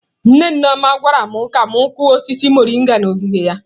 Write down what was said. Nne Nneoma gwara m ka m kụọ osisi mọrịnga n’ogige ya.